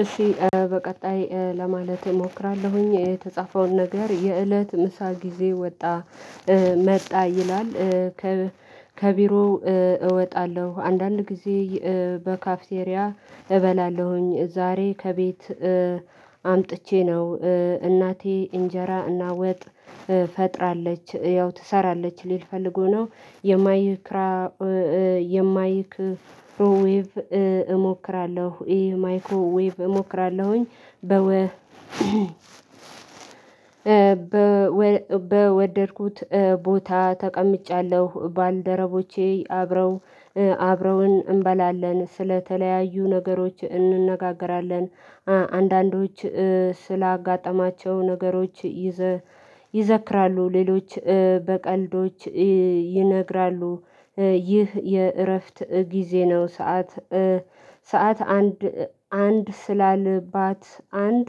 እሺ በቀጣይ ለማለት እሞክራለሁኝ የተጻፈውን ነገር የእለት ምሳ ጊዜ ወጣ መጣ ይላል። ከቢሮው እወጣለሁ አንዳንድ ጊዜ በካፍቴሪያ እበላለሁኝ። ዛሬ ከቤት አምጥቼ ነው። እናቴ እንጀራ እና ወጥ ፈጥራለች ያው ትሰራለች ሊል ፈልጎ ነው። የማይክራ የማይክሮዊቭ እሞክራለሁ ይሄ ማይክሮዊቭ እሞክራለሁኝ። በወ በወደድኩት ቦታ ተቀምጫለሁ ባልደረቦቼ አብረው አብረውን እንበላለን ስለተለያዩ ነገሮች እንነጋገራለን። አንዳንዶች ስላጋጠማቸው ነገሮች ይዘክራሉ። ሌሎች በቀልዶች ይነግራሉ። ይህ የእረፍት ጊዜ ነው። ሰዓት ሰዓት አንድ አንድ ስላልባት አንድ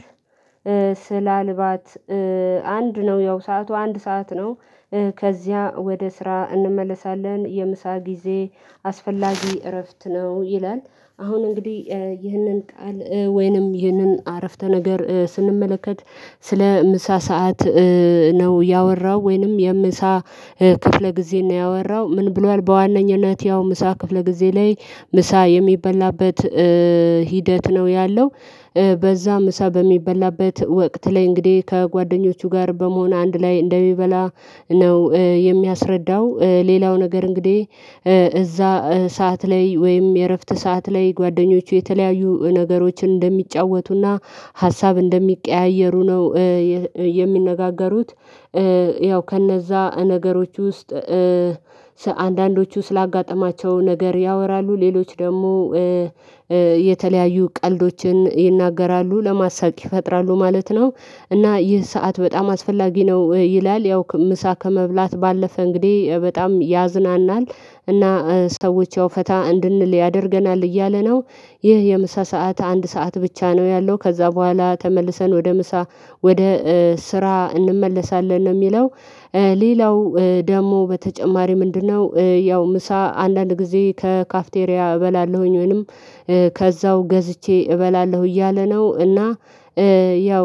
ስላልባት አንድ ነው ያው ሰዓቱ አንድ ሰዓት ነው። ከዚያ ወደ ስራ እንመለሳለን የምሳ ጊዜ አስፈላጊ እረፍት ነው ይላል። አሁን እንግዲህ ይህንን ቃል ወይንም ይህንን አረፍተ ነገር ስንመለከት ስለ ምሳ ሰዓት ነው ያወራው ወይንም የምሳ ክፍለ ጊዜ ነው ያወራው። ምን ብሏል? በዋነኝነት ያው ምሳ ክፍለ ጊዜ ላይ ምሳ የሚበላበት ሂደት ነው ያለው። በዛ ምሳ በሚበላበት ወቅት ላይ እንግዲህ ከጓደኞቹ ጋር በመሆን አንድ ላይ እንደሚበላ ነው የሚያስረዳው። ሌላው ነገር እንግዲህ እዛ ሰዓት ላይ ወይም የእረፍት ሰዓት ላይ ጓደኞቹ የተለያዩ ነገሮችን እንደሚጫወቱና ሀሳብ እንደሚቀያየሩ ነው የሚነጋገሩት። ያው ከነዛ ነገሮች ውስጥ አንዳንዶቹ ስላጋጠማቸው ነገር ያወራሉ። ሌሎች ደግሞ የተለያዩ ቀልዶችን ይናገራሉ ለማሳቅ ይፈጥራሉ ማለት ነው። እና ይህ ሰዓት በጣም አስፈላጊ ነው ይላል። ያው ምሳ ከመብላት ባለፈ እንግዲህ በጣም ያዝናናል እና ሰዎች ያው ፈታ እንድንል ያደርገናል እያለ ነው። ይህ የምሳ ሰዓት አንድ ሰዓት ብቻ ነው ያለው። ከዛ በኋላ ተመልሰን ወደ ምሳ ወደ ስራ እንመለሳለን ነው የሚለው። ሌላው ደግሞ በተጨማሪ ምንድነው? ያው ምሳ አንዳንድ ጊዜ ከካፍቴሪያ እበላለሁኝ ወይንም ከዛው ገዝቼ እበላለሁ እያለ ነው። እና ያው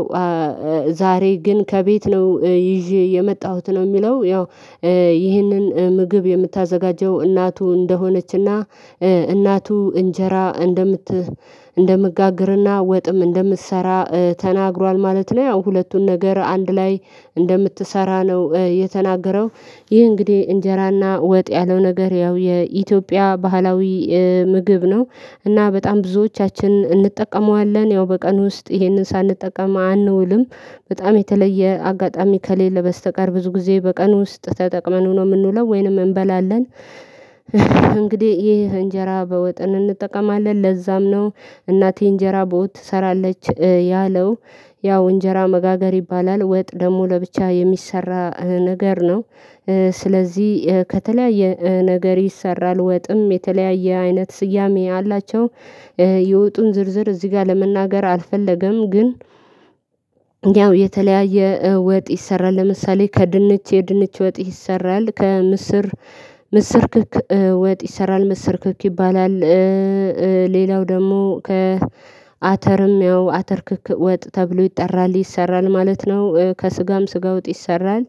ዛሬ ግን ከቤት ነው ይዤ የመጣሁት ነው የሚለው። ያው ይህንን ምግብ የምታዘጋጀው እናቱ እንደሆነችና እናቱ እንጀራ እንደምት እንደምጋግርና ወጥም እንደምትሰራ ተናግሯል ማለት ነው። ያው ሁለቱን ነገር አንድ ላይ እንደምትሰራ ነው የተናገረው። ይህ እንግዲህ እንጀራና ወጥ ያለው ነገር ያው የኢትዮጵያ ባህላዊ ምግብ ነው። እና በጣም ብዙዎቻችን እንጠቀመዋለን ያው በቀን ውስጥ ይሄንን ሳንጠቀም አንውልም። በጣም የተለየ አጋጣሚ ከሌለ በስተቀር ብዙ ጊዜ በቀን ውስጥ ተጠቅመን ነው የምንውለው ወይንም እንበላለን። እንግዲህ ይህ እንጀራ በወጥን እንጠቀማለን ለዛም ነው እናቴ እንጀራ በወጥ ትሰራለች ያለው። ያው እንጀራ መጋገር ይባላል ወጥ ደግሞ ለብቻ የሚሰራ ነገር ነው። ስለዚህ ከተለያየ ነገር ይሰራል ወጥም የተለያየ አይነት ስያሜ አላቸው። የውጡን ዝርዝር እዚህ ጋር ለመናገር አልፈለገም። ግን ያው የተለያየ ወጥ ይሰራል ለምሳሌ ከድንች የድንች ወጥ ይሰራል ከምስር ምስርክክ ወጥ ይሰራል ምስርክክ ይባላል። ሌላው ደግሞ ከአተርም ያው አተር ክክ ወጥ ተብሎ ይጠራል ይሰራል ማለት ነው። ከስጋም ስጋ ውጥ ይሰራል።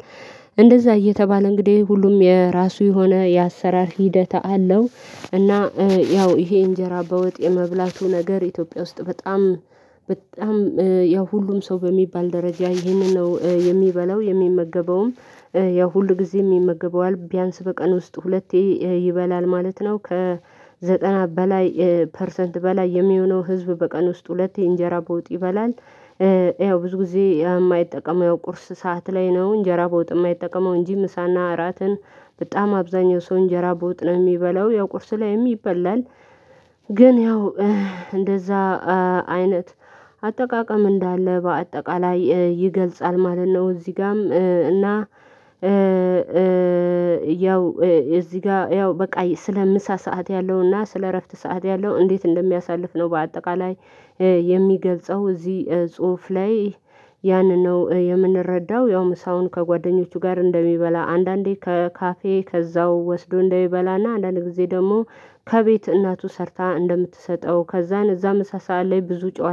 እንደዛ እየተባለ እንግዲህ ሁሉም የራሱ የሆነ የአሰራር ሂደት አለው። እና ያው ይሄ እንጀራ በወጥ የመብላቱ ነገር ኢትዮጵያ ውስጥ በጣም ያው ሁሉም ሰው በሚባል ደረጃ ይህንን ነው የሚበላው የሚመገበውም ያው ሁል ጊዜም የሚመገበው ቢያንስ በቀን ውስጥ ሁለቴ ይበላል ማለት ነው። ከዘጠና በላይ ፐርሰንት በላይ የሚሆነው ህዝብ በቀን ውስጥ ሁለቴ እንጀራ በውጥ ይበላል። ያው ብዙ ጊዜ የማይጠቀመው የቁርስ ሰዓት ላይ ነው እንጀራ ቦጥ የማይጠቀመው እንጂ ምሳና እራትን በጣም አብዛኛው ሰው እንጀራ በወጥ ነው የሚበላው ያው ቁርስ ላይም ይበላል። ግን ያው እንደዛ አይነት አጠቃቀም እንዳለ በአጠቃላይ ይገልጻል ማለት ነው። እዚህ ጋም እና ያው እዚህ ጋ ያው በቃ ስለ ምሳ ሰዓት ያለውና ስለ እረፍት ሰዓት ያለው እንዴት እንደሚያሳልፍ ነው በአጠቃላይ የሚገልጸው እዚህ ጽሁፍ ላይ ያንን ነው የምንረዳው። ያው ምሳውን ከጓደኞቹ ጋር እንደሚበላ አንዳንዴ ከካፌ ከዛው ወስዶ እንደሚበላና አንዳንድ ጊዜ ደግሞ ከቤት እናቱ ሰርታ እንደምትሰጠው ከዛን እዛ ምሳ ሰዓት ላይ ብዙ ጨዋታ